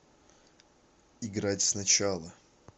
играть сначала